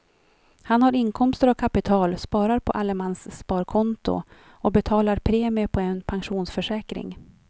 Han har inkomster av kapital, sparar på allemanssparkonto och betalar premie på en pensionsförsäkring.